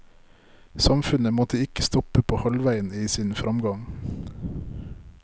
Samfunnet måtte ikke stoppe på halvveien i sin fremgang.